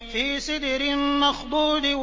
فِي سِدْرٍ مَّخْضُودٍ